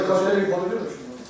Bu qoca qadın bu pulu niyə verib sizə?